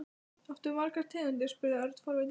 Áttu margar tegundir? spurði Örn forvitinn.